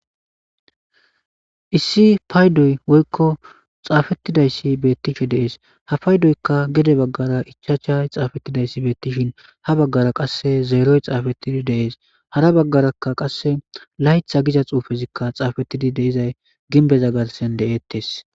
Issi paydoy woykko xaafettidayssi beettishe dees hapaydoykka gede baggara ichachay xaafettidayssi beettishin ha baggara qasse zeeroy xaafettidi deees hara baggaraka qasse laytha giza xuufezikka xaafettidi deizay ginbeza garsen de'ettes.